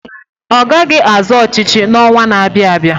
Ọ gaghị azọ ọchịchị n'ọnwa na-abịa abịa.